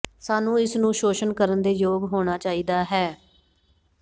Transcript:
ਸਾਨੂੰ ਇਸ ਨੂੰ ਸ਼ੋਸ਼ਣ ਕਰਨ ਦੇ ਯੋਗ ਹੋਣਾ ਚਾਹੀਦਾ ਹੈ